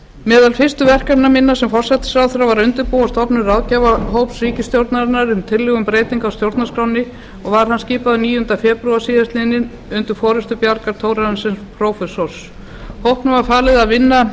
meðal fyrstu verkefna minna sem forsætisráðherra var að undirbúa stofnun ráðgjafarhóps ríkisstjórnarinnar um tillögur um breytingar á stjórnarskránni og var hann skipaður níundi febrúar síðastliðinn undir forystu bjargar thorarensen prófessors hópnum var falið að vinna